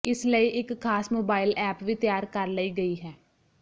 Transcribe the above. ਇਸ ਲਈ ਇੱਕ ਖ਼ਾਸ ਮੋਬਾਇਲ ਐਪ ਵੀ ਤਿਆਰ ਕਰ ਲਈ ਗਈ ਹੈ